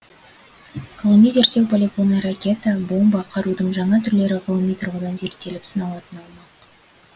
ғылыми зерттеу полигоны ракета бомба қарудың жаңа түрлері ғылыми тұрғыдан зерттеліп сыналатын аумақ